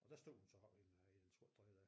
Og der stod hun så oppe hende i den sorte trøje der